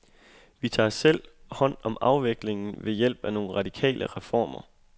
Vi tager selv hånd om afviklingen ved hjælp af nogle radikale reformer.